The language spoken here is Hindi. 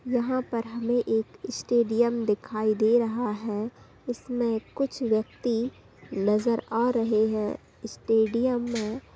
यहाँ पर हमे एक स्टेडियम दिखाई दे रहा है इसमें कुछ व्यक्ति नजर आ रहे है स्टेडियम में--